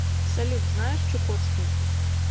салют знаешь чукотский